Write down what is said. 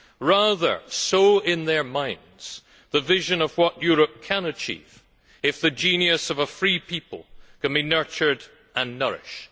Rather sow in their minds the vision of what Europe can achieve if the genius of a free people can be nurtured and nourished.